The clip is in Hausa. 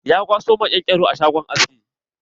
Ya kwaso maƙen-ƙero a shagon aski.